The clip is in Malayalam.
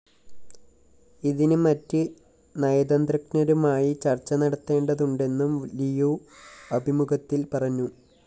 ഇതിന് മറ്റ് നയതന്ത്രജ്ഞരുമായി ചര്‍ച്ച നടത്തേണ്ടതുണ്ടെന്നും ലിയു അഭിമുഖത്തില്‍ പറഞ്ഞു